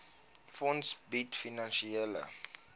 fonds bied finansiële